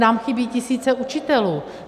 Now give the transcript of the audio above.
Nám chybí tisíce učitelů.